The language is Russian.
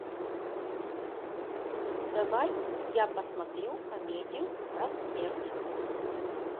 давай я посмотрю комедию про смерть